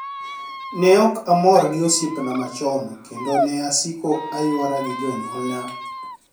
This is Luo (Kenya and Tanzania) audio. ni e ok amor gi osiepnia machoni, kenido ni e asiko aywara gi joniyuolnia.